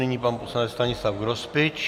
Nyní pan poslanec Stanislav Grospič.